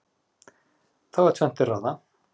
þá er tvennt til ráða